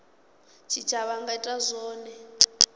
tshitshavha a nga ita zwone